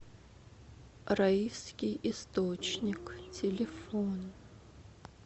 раифский источник телефон